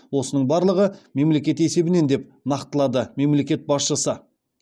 осының барлығы мемлекет есебінен деп нақтылады мемлекет басшысы